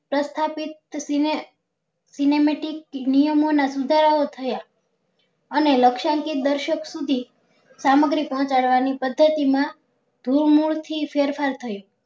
તથાસ્થીક cinemetic નિયમો ના સુધારા ઓ થયા અને લક્ષણ કે દર્શક સુધી સામગ્રી પહોચાડવા ની પદ્ધતિ માં ધૂળ મૂળ થી ફેરફાર થયો